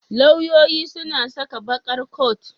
Lauyoyi suna saka baƙar coat.